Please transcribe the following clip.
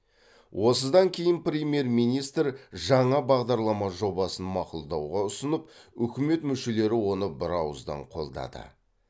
осыдан кейін премьер министр жаңа бағдарлама жобасын мақұлдауға ұсынып үкімет мүшелері оны бірауыздан қолдады